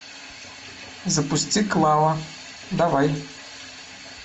запусти клава давай